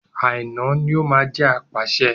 Àíná ní o máa jẹ́ apàṣẹ.